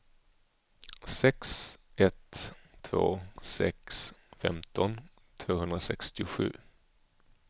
sex ett två sex femton tvåhundrasextiosju